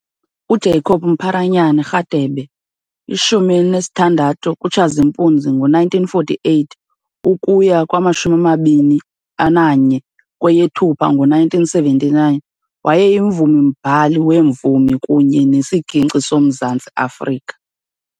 UJacob "Mpharanyana" Radebe, 16 kuTshazimpuzi 1948 - 21 kweyeThupha ngo1979, wayeyimvumi-mbhali wemvumi kunye nesiginci soMzantsi Afrika.